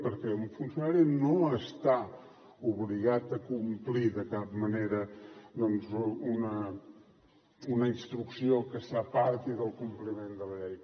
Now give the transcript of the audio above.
perquè un funcionari no està obligat a complir de cap manera doncs una instrucció que s’aparti del compliment de la llei